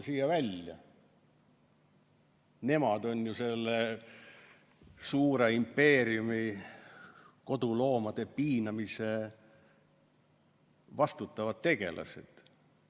Nemad on ju selle suure impeeriumi, koduloomade piinamise eest vastutavad tegelased.